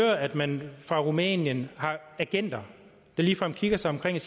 at man fra rumænien har agenter der ligefrem kigger sig omkring og